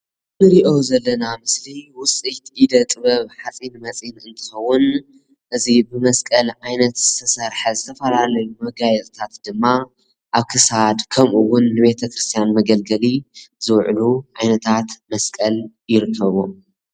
እንሪኦ ዘለና ምስሊ ውፅኢት ኢደ ጥበብ ሓፂነ መፂን እንትኸውን እዚ ብመስቀል ዓይነት ዝተሰርሐ ዝተፈላለዩ መጋየፅታት ድማ ኣብ ክሳድ ከምኡ እውን ንቤተ ክርስትያን መገልገሊ ዝውዕሉ ዓይነታት መስቀል ይርከብዎ፡፡